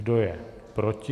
Kdo je proti?